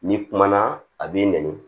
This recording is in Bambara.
N'i kumana a b'i nɛni